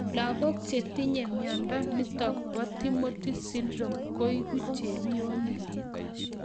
Lagók chetinye miondo nitok po Timothy syndrome koeku chepionik